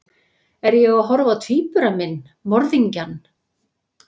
Er ég að horfa á tvíbura minn, morðingjann?